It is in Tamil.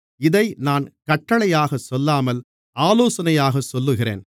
இதை நான் கட்டளையாகச் சொல்லாமல் ஆலோசனையாகச் சொல்லுகிறேன்